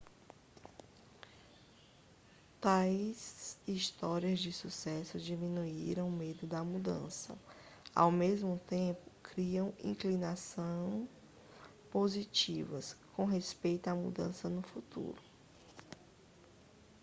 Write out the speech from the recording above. tais histórias de sucesso diminuíram o medo da mudança ao mesmo tempo criam inclinações positivas com respeito à mudança no futuro